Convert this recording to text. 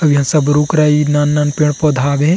अउ इहा सब रुख राइ नान-नान पेड़-पौधा हाबे हे।